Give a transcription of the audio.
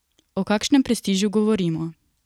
O kakšnem prestižu govorimo?